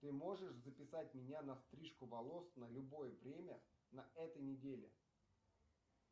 ты можешь записать меня на стрижку волос на любое время на этой неделе